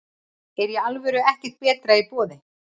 Er í alvöru ekkert betra í boði?